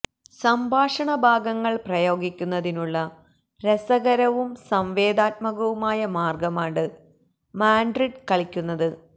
സംഭാഷണ ഭാഗങ്ങൾ പ്രയോഗിക്കുന്നതിനുള്ള രസകരവും സംവേദനാത്മകവുമായ മാർഗമാണ് മാഡ്രിഡ് കളിക്കുന്നത്